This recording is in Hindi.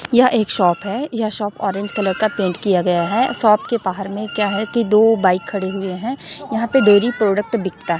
यह एक शॉप है यह शॉप ऑरेज कलर का पेंट किया गया है शॉप के बाहर में क्या है कि दो बाइक खड़ी हुई है यहाँ पे डेयरी प्रोडक्ट बिकता --